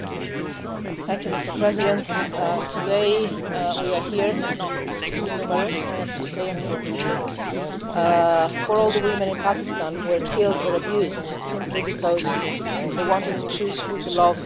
Mr President, today we are here not too numerous I have to say, unfortunately for all the women in Pakistan killed or abused simply because they wanted to choose who to love or how to pray.